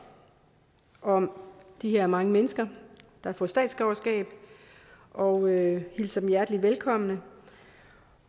om de her mange mennesker der får statsborgerskab og hilser dem hjertelig velkommen